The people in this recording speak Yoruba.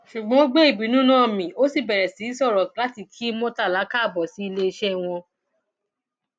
ṣùgbọn ó gbé ìbínú náà mi ó sì bẹrẹ sí í sọrọ láti kí murtala káàbọ sí iléeṣẹ wọn